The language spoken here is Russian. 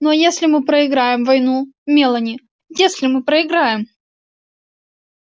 ну а если мы проиграем войну мелани если мы проиграем